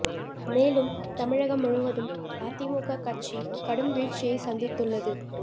மேலும் தமிழகம் முழுவதும் அதிமுக கட்சி கடும் வீழ்ச்சியை சந்தித்துள்ளது